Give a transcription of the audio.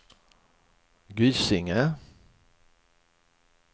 Gysinge